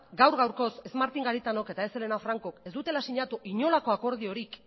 gaur gaurkoz ez martin garitanok eta ez helena francok ez dutela sinatu inolako akordiorik